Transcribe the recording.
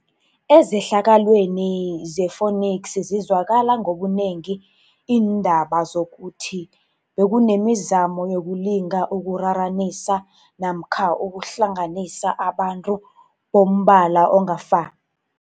Ezehlakalweni ze-Phoenix zizwakala ngobunengi iindaba zokuthi bekunemi zamo yokulinga ukuraranisa namka ukuhlanganisa abantu bombala ongafa